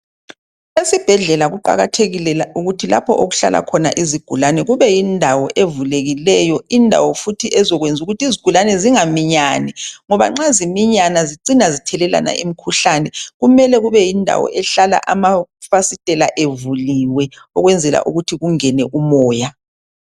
Esibhedlela kuqakathekile ukuthi lapho okuhlala khona izigulani kube yindawo evulekileyo indawo futhi ezakwenza ukuthi izigulani zingaminyani ngoba nxa ziminyana zicina zithelelana imikhuhlane kumele kube yindawo ehlala amafastela evuliwe ukwenzela ukubana kungene umoya